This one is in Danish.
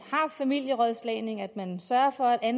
er familierådslagning og at man sørger for at